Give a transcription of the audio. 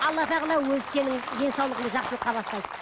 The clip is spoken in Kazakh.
алла тағала өзі сенің денсаулығыңды жақсылыққа бастайды